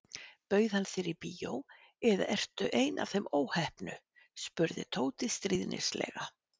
Bauð hann þér í bíó eða ertu ein af þeim óheppnu spurði Tóti stríðnislega.